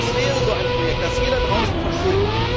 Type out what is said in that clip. Das wäre so ein Projekt, das jeder draußen versteht.